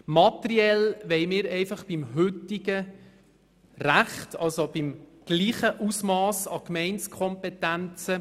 Materiell wollen wir einfach beim heutigen Recht bleiben, also bei gleich viel Gemeindekompetenz.